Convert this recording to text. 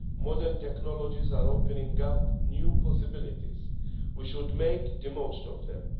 Modern technologies are opening up new possibilities and we should make the most of them.